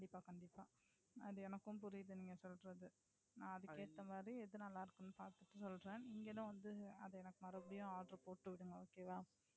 கண்டிப்பா, கண்டிப்பா. அது எனக்கும் புரியுது நீங்க சொல்றது. நான் அதுக்கு ஏத்த மாதிரி எது நல்லா இருக்குனு பாத்திட்டு சொல்றேன். நீங்களும் அத எனக்கு மறுபடியும் ஆர்டர் போட்டு விடுங்க Okay வா.